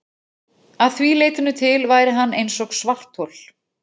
Að því leytinu til væri hann eins og svarthol.